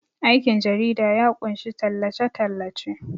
aikin jarida ya kunshi tallace- tallace